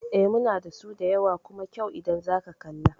Eh, muna dasu da yawa kuma kyau idan zaka kalla